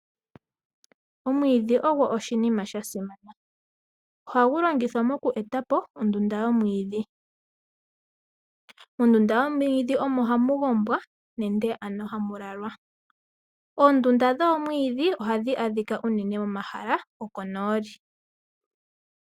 Omwiidhi ogo oshinima sha simana. Ohagu longithwa oku eta po ondunda yomwiidhi. Mondunda yomwiidhi omo hamu gondjwa nenge hamu lalwa. Oondunda dhoomwiidhi ohadhi adhika unene momahala gokonooli.